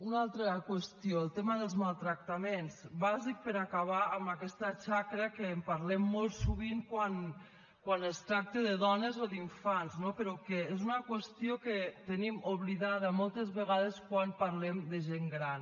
una altra qüestió el tema dels maltractaments bàsic per acabar amb aquesta xacra que en parlem molt sovint quan es tracta de dones o d’infants no però que és una qüestió que tenim oblidada moltes vegades quan parlem de gent gran